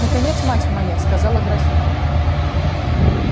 наконец мать моя сказала графиня